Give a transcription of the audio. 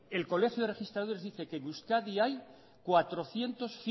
el colegio de registradores dice que en euskadi hay cuatrocientos